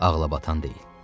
Ağlabatan deyil.